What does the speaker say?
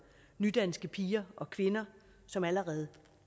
nydanske piger og kvinder som allerede